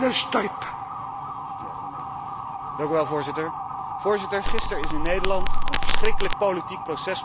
Voorzitter, gisteren is in Nederland een verschrikkelijk politiek proces begonnen tegen onze partijleider Geert Wilders.